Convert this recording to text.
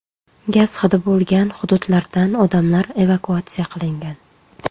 Gaz hidi bo‘lgan hududlardan odamlar evakuatsiya qilingan.